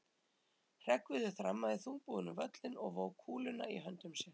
Hreggviður þrammaði þungbúinn um völlinn og vóg kúluna í höndum sér.